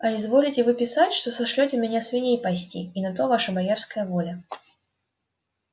а изволите вы писать что сошлёте меня свиней пасти и на то ваша боярская воля